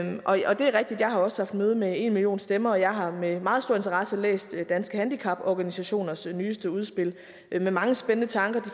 jeg også har haft møde med enmillionstemmer og jeg har med meget stor interesse læst danske handicaporganisationers nyeste udspil med mange spændende tanker de